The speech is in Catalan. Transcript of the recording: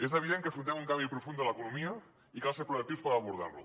és evident que afrontem un canvi profund de l’economia i cal ser proactius per abordar lo